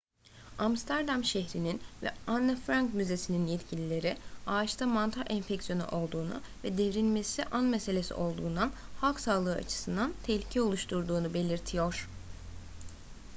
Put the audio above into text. amsterdam şehrinin ve anne frank müzesi'nin yetkilileri ağaçta mantar enfeksiyonu olduğunu ve devrilmesi an meselesi olduğundan halk sağlığı açısından tehlike oluşturduğunu belirtiyor